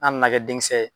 An nana kɛ denkisɛ ye